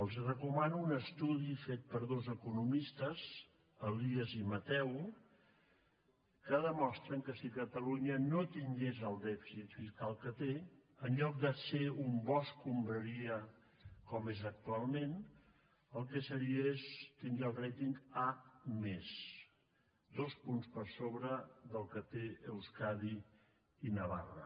els recomano un estudi fet per dos economistes elias i mateu que demostren que si catalunya no tingués el dèficit fiscal que té en lloc de ser un bo escombraries com és actualment tindria el ratingque tenen euskadi i navarra